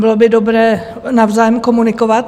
Bylo by dobré navzájem komunikovat.